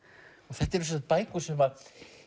þetta eru sem sagt bækur sem